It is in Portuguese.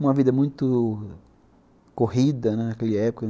Uma vida muito corrida, né, naquela época.